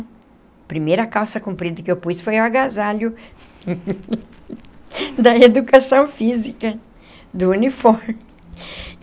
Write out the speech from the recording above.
A primeira calça comprida que eu pus foi o agasalho da Educação Física, do uniforme.